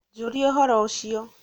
njũria ũhoro ucio